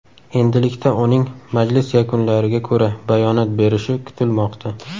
Endilikda uning majlis yakunlariga ko‘ra bayonot berishi kutilmoqda.